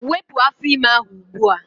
Wepụ afọ ime ahụ ugbua!